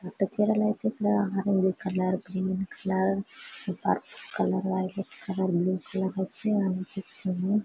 పట్టు చీరలైతే ఇక్కడ orange colour green colour violet colour blue colour అయితే అనిపిస్తుంది .